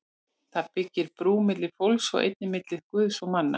Það byggir brú milli fólks og einnig milli Guðs og manna.